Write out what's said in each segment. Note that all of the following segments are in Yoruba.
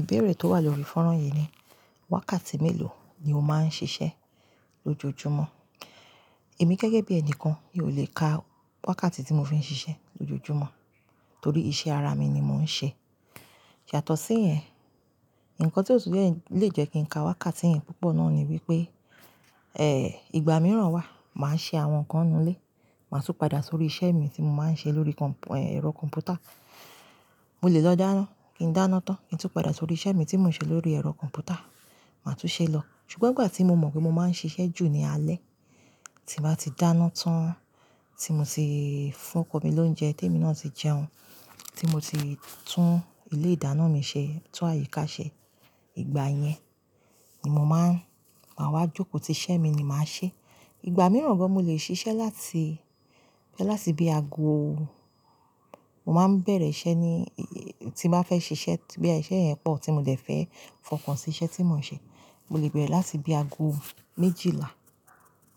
Ìbéèrè tó wà lórí fọ́nrán yìí ni, wákàtí mélòó ni o máa ń ṣiṣẹ́ lójoojúmọ́? Èmi gẹ́gẹ́ bí ẹni kan mi ò lè ka wákàtí tí mo fi ń ṣiṣẹ́ lójoojúmọ́ torí iṣẹ́ ara mi ni mo ń ṣe. Ṣàtọ̀ sí yẹn, nǹkan tó lè jẹ́ kí n ka wákàtí yẹn púpọ̀ náà ni wípé, ìgbà mìíràn wà, màá ṣe àwọn nǹkan inú ilé, màá tún padà sórí iṣẹ́ mi tí mo máa ń ṣe lórí kọ̀m-- ẹ̀rọ kọ̀m̀pútà. Mo lè lọ dáná, kí n dáná tán, kí n tún padà sórí iṣẹ́ mi tí mò ń ṣe lórí ẹ̀rọ kọ̀m̀pútà, màá tún ṣe é lọ. Ṣùgbọ́n ìgbà tí mo mọ̀ pé mo máa ń ṣiṣẹ́ jù ní alẹ́, tí màá ti dáná tán, tí mo ti fún ọkọ mi lóúnjẹ, témi náà ti jẹun, tí mo ti tún ilé ìdáná mi ṣe, tún àyíká ṣe, ìgbà yẹn ni mo máa ń, màá wá jókòó ti iṣẹ́ mi ni màá ṣe. Ìgbà mìíràn gbọ̀n mo lè ṣiṣẹ́ láti, láti bí aago, mo máa ń bẹ̀rẹ̀ iṣẹ́ ni, tí màá fẹ́ ṣe iṣẹ́ bí i iṣẹ́ yẹn pọ̀ tí mo dẹ̀ fẹ́ fọkàn sí iṣẹ́ tí mò ń ṣe, mo lè bẹ̀rẹ̀ láti bí aago méjìlá,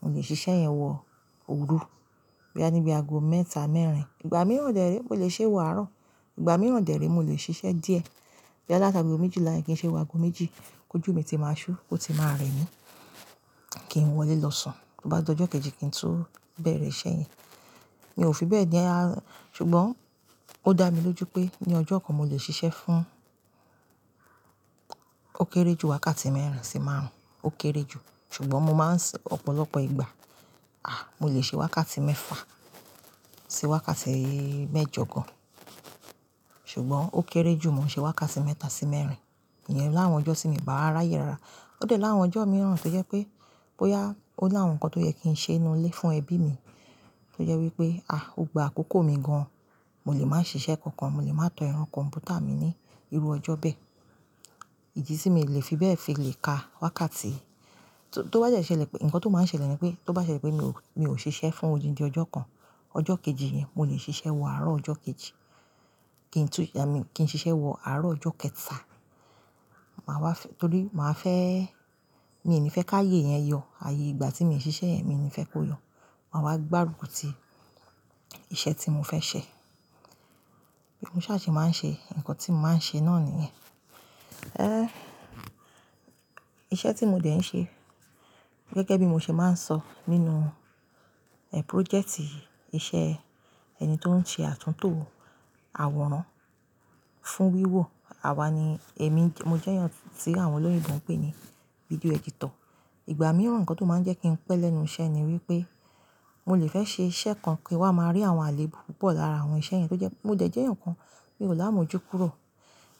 mo lè ṣe iṣẹ́ yẹn wọ oru boya bí aago mẹ́ta mẹ́rin. Ìgbà mìíràn dẹ̀ rí mo lè ṣe é wọ àárọ̀. Ìgbà mìíràn dẹ̀ rí mo lè ṣe iṣẹ́ díẹ̀. Bí aláta bí i o méjìlá yẹn kí n ṣe é wọ aago méjì, kójú mi ti máa ṣú, ó ti máa rẹ mí, kí n wọlé lọ sùn. Bí bá ti dojọ́ kejì kí n tún bẹ̀rẹ̀ iṣẹ́ yẹn. Mi ò fi bẹ́ẹ̀ ni a-- ṣùgbọ́n ó dá mi lójú pé ní ọjọ́ kan mo lè ṣiṣẹ́ fún ó kéré jù wákàtí mẹ́rìń sì máàrún, ó kéré jù. Ṣùgbọ́n mo máa ń sọ ọ̀pọ̀lọpọ̀ ìgbà, à! Mo lè ṣe wákàtí mẹ́fà sí wákàtí mẹ́jọ gán. Ṣùgbọ́n ó kéré jù, mo ṣe wákàtí mẹ́ta sí mẹ́rin. Ìyẹn láà won ọjọ́ sí mi bàa ráyè rara. Ó dẹ̀ láà awon ọjọ́ mìíràn tó jẹ́ pé bóyá ó ní àwọn nǹkan tó yẹ kí n ṣe inú ilé fún ẹbí mi tó jẹ́ wípé, à! Ò gba àkókò mi gan-an, mo lè máa ṣiṣẹ́ kankan, mo lè máa tọ ẹrọ kọ̀m̀pútà mi ní irú ọjọ́ bẹ́ẹ̀. Ìdí tí mi ò lè fi bẹ́ẹ̀ fi lè ka wákàtí. Tó bá jẹ́ ṣẹlẹ̀ pé, ǹkan tó máa ṣẹlẹ̀ ni pé tó bá ṣẹlẹ̀ pé mi ò, mi ò ṣiṣẹ́ fún odindi ọjọ́ kan, ọjọ́ kejì yẹn mo lè ṣiṣẹ́ wọ àárọ̀ ọjọ́ kejì. Kí n tún yá mi, kí n ṣiṣẹ́ wọ àárọ̀ ọjọ́ kẹta. Màá wá fẹ́-- torí màá fẹ́, mi ò ní fẹ́ káye yẹn yọ. Ààyè ìgbà tí mo ṣiṣẹ́ yẹn, mi ò ní fẹ́ kó yọ. Màá wá gbárùkù ti iṣẹ́ tí mo fẹ́ ṣe. Bí mo ṣe àṣẹ máa ń ṣe, ǹkan tí mo máa ń ṣe náà ni yẹn. Ẹ́! Iṣẹ́ tí mo dẹ̀ ń ṣe gẹ́gẹ́ bí mo ṣe máa ń sọ nínú púrójẹ̀tì iṣẹ́ ẹni tó ń ṣe àtúntò àwòrán fún wíwò àwa ni, èmi mo jẹ́yàn tí àwọn olóyè ìbò ń pè ní fídíò ẹ́dítọ̀. Ìgbà mìíràn ǹkan tó máa ń jẹ́ kí n pẹ́ lẹ́nu iṣẹ́ ni wípé mo lè fẹ́ ṣe iṣẹ́ kan kí wàá máa rí àwọn àléébù púpọ̀ lára àwọn iṣẹ́ yẹn tó jẹ́, mo dẹ̀ jẹ́yàn ǹkan mi ò láà mojú kúrò.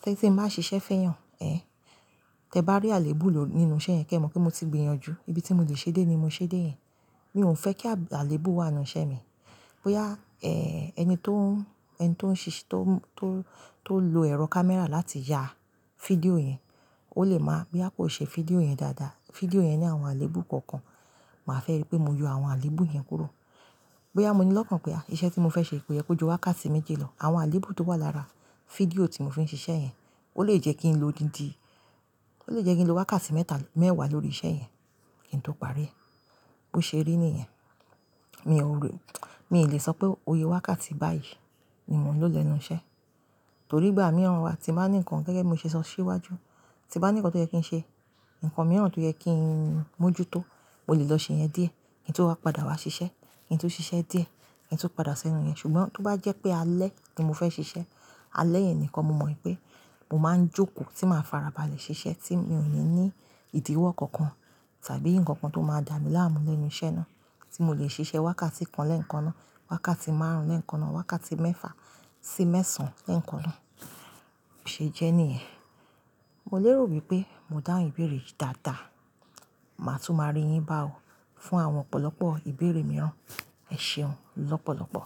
Tẹ́ tí mo máa ṣiṣẹ́ fẹ́yàn, tẹ bá rí àléébù lò nínú iṣẹ́ yẹn kí ẹ mọ̀ pé mo ti gbìyànjú ibi tí mo lè ṣe dé ni mo ṣe dé yẹn. Mi ò ń fẹ́ kí àléébù wà nínú iṣẹ́ mi. Bóyá ẹni tó ń, ẹni tó ń ṣíṣe, tó ń, tó ń, tó ń lo ẹ̀rọ kámẹ́rà láti ya fídíò yẹn ó lè máa bí i kó ṣe fídíò yẹn dáadáa. Fídíò yẹn ní àwọn àléébù kọ̀ọ̀kan, màá fẹ́ rí pé mo yọ àwọn àléébù yẹn kúrò. Bóyá mo ní lọ́kàn pé à! Iṣẹ́ tí mo fẹ́ ṣe pé ẹ kó ju wákàtí méjì lọ, àwọn àléébù tó wà lára fídíò tí mo fi ń ṣiṣẹ́ yẹn ó lè jẹ́ kí n lo odindi, ó lè jẹ́ kí n lo wákàtí mẹ́ta, mẹ́wàá lórí iṣẹ́ yẹn kí n tó parí. Ó ṣe rí ni yẹn. Mi ò le, mi ò lè sọ pé oye wákàtí báyìí ni mò ń lò lẹ́nu iṣẹ́. Torí ìgbà mìíràn wà tí màá ní ǹkan gẹ́gẹ́ bí mo ṣe ṣọ síwájú, tí màá ní ǹkan tó yẹ kí n ṣe, ǹkan mìíràn tó yẹ kí n mójútó, mo lè lọ ṣe yẹn díẹ̀. Kí n tó wá padà wá ṣiṣẹ́, kí n tó ṣiṣẹ́ díẹ̀, kí n tó padà ṣẹnu yẹn. Ṣùgbọ́n tó bá jẹ́ pé alẹ́ ni mo fẹ́ ṣiṣẹ́, alẹ́ yẹn nìkan mo mọ̀ pé mo máa ń jókòó tí màá farabalẹ̀ ṣiṣẹ́ tí mi ò yẹ ní ìdíwọ́ kankan tàbí nǹkan kan tó máa dà mí láàmú lẹ́nu iṣẹ́ náà tí mo lè ṣe iṣẹ́ wákàtí kan lẹ́ẹ̀kan náà, wákàtí márùn-ún lẹ́ẹ̀kan náà, wákàtí mẹ́fà sí mẹ́sàn-án lẹ́ẹ̀kan náà. Ó ṣe jẹ́ ní yẹn. Mo lè rò wípé mo dá ìbéèrè yìí dáadáa. Màá tún máa rí yín bá ò fún àwọn ọ̀pọ̀lọpọ̀ ìbéèrè mìíràn. Ẹ ṣeun lọ́pọ̀lọpọ̀.